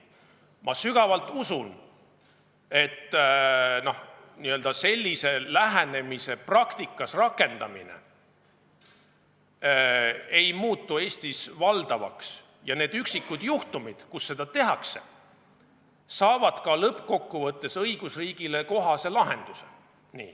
Ma sügavalt usun, et sellise lähenemise praktikas rakendamine ei muutu Eestis valdavaks ja need üksikud juhtumid, kus seda tehakse, saavad ka lõppkokkuvõttes õigusriigile kohase lahenduse.